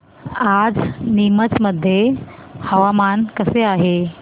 आज नीमच मध्ये हवामान कसे आहे